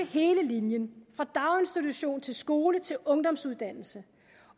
hele linjen fra daginstitution til skole til ungdomsuddannelse